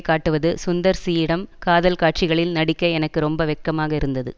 காட்டுவது சுந்தர் சியிடம் காதல் காட்சிகளில் நடிக்க எனக்கு ரொம்ப வெட்கமாக இருந்தது